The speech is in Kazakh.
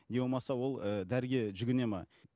не болмаса ол ыыы дәріге жүгінеді ме